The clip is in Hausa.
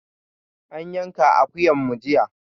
An yanka akuyan mu jiya.